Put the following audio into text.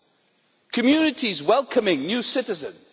and communities welcoming new citizens.